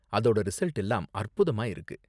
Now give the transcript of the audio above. அதோட ரிசல்ட் எல்லாம் அற்புதமா இருக்கு.